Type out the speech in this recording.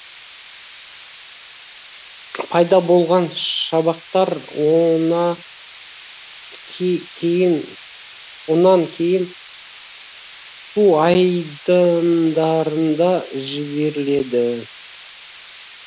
пайда болған шабақтар онан кейін су айдындарында жіберіледі